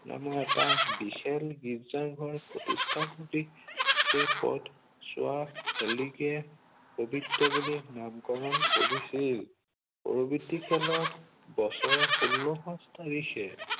নামৰ এটা বিশাল গীৰ্জাঘৰ প্ৰতিষ্ঠা কৰি সেই পথছোৱাক হেলিকে পবিত্ৰ বুলি নামকৰণ কৰিছিল। পৰৱৰ্তিকালত বছৰৰ শোল্ল মাৰ্চ তাৰিখে